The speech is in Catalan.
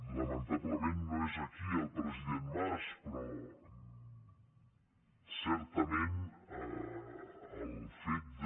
lamentablement no és aquí el president mas però certament el fet de